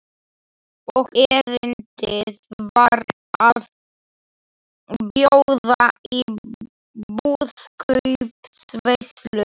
Og erindið var að bjóða í brúðkaupsveislu.